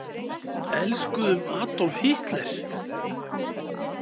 Elskuðum Adolf Hitler?